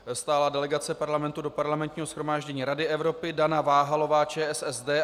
Stálá delegace Parlamentu do Parlamentního shromáždění Rady Evropy - Dana Váhalová, ČSSD.